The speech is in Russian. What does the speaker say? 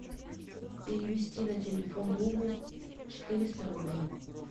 перевести на телефон другу четыреста рублей